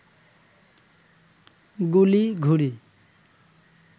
গুলি, ঘুড়ি